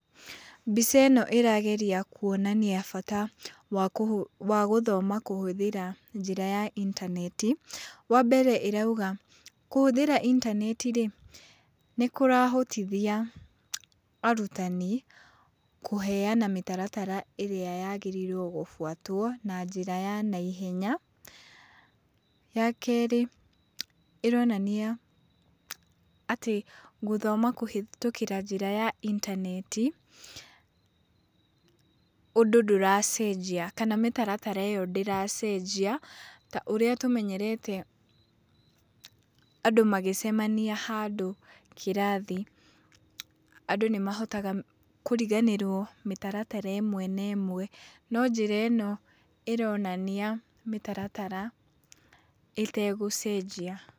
Mbica ĩno ĩrageria kuonania bata wa gũthoma kũhũthĩra njĩra ya intaneti. Wa mbere ĩrauga, kũhũthĩra intaneti-rĩ, nĩkũrahotithia arutani kũheana mĩtaratara ĩrĩa yagĩrĩirwo gũbũatwo na njĩra ya naihenya. Wa kerĩ, ĩronania atĩ gũthoma kũhĩtũkĩra njĩra ya intaneti, ũndũ ndũracenjia kana mĩtaratara ĩyo ndĩracenjia ta ũrĩa tũmenyerete andũ magĩcemania handũ kĩrathi andũ nĩmahotaga kũriganĩrwo mĩtaratara ĩmwe na ĩmwe. No njĩra ĩno ĩronania mĩtaratara ĩtegũcenjia.